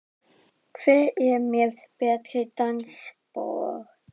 Hver er með betri dansspor?